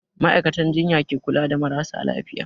Ma'aikatan jinya ke kula da marasa lafiya.